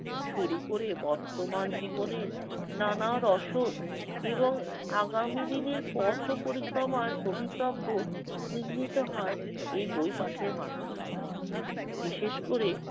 শুরু করে বর্তমান জীবনের নানা রসদ এবং আগামী দিনের পথ পরিক্রমার ভবিতব্য নির্মিত হয় এই বই পাঠের মাধ্যমে। বিশেষ করে